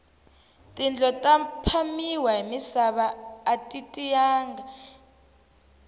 tindlo ta phamiwa hi misava ati tiyanga